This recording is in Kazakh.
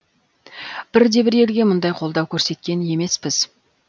бірде бір елге мұндай қолдау көрсеткен емеспіз